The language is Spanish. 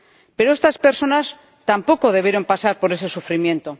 Pero estas personas tampoco debieron pasar por ese sufrimiento.